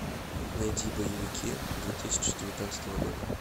найди боевики две тысячи девятнадцатого года